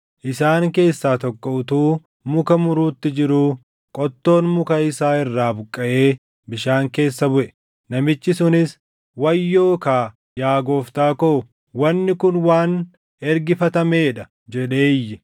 Isaan keessaa tokko utuu muka muruutti jiruu qottoon muka isaa irraa buqqaʼee bishaan keessa buʼe. Namichi sunis, “Wayyoo kaa, yaa gooftaa koo; wanni kun waan ergifatamee dha!” jedhee iyye.